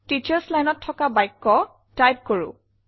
teachers lineত তথা বাক্য টাইপ কৰো বলক